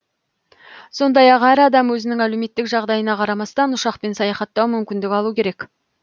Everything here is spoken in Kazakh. сондай ақ әр адам өзінің әлеуметтік жағдайына қарамастан ұшақпен саяхаттау мүмкіндік алу керек